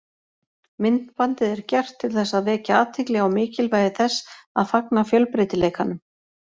Myndbandið er gert til þess að vekja athygli á mikilvægi þess að fagna fjölbreytileikanum.